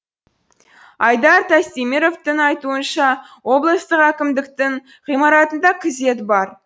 айдар тастеміровтің айтуынша облыстық әкімдіктің ғимаратында күзет бар